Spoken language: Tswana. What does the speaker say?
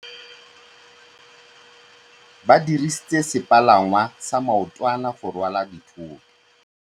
Ba dirisitse sepalangwasa maotwana go rwala dithôtô.